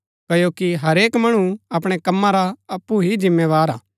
क्ओकि हरेक मणु अपणै कम्मा रा अप्पु ही जिम्मेदार हा